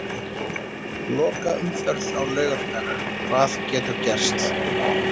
Lokaumferð á laugardag- Hvað getur gerst?